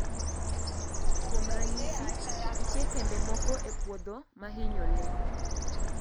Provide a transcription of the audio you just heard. Kuom ranyisi, nitie kembe moko e puodho ma hinyo le.